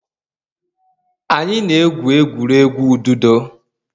Anyị na-egwu egwuregwu ududo.